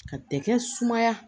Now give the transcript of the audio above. Ka tɛkɛ sumaya